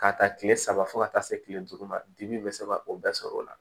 K'a ta tile saba fo ka taa se kile duuru ma dimi bɛ se ka o bɛɛ sɔrɔ o la